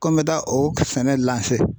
Ko n be taa o sɛnɛ